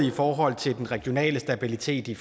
i forhold til den regionale stabilitet i